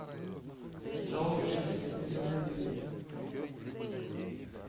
сообщество сезон один